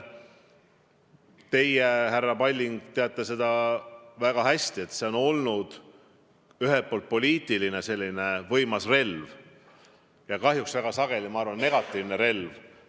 Teie, härra Palling, teate seda väga hästi, et see on olnud ühelt poolt võimas poliitiline relv ja kahjuks väga sageli, ma arvan, negatiivne relv.